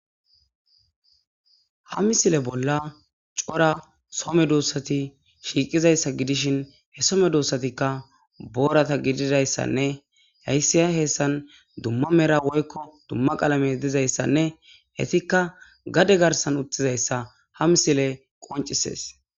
ha misile bolla cora so medossati shiiqizayssa gidishin he so medossatikka boorata gididayssanne haysiya heessan dumma mera woykko dumma qalame dizayssanne hetikka gade garsan uttizayssa ha misile qoncisees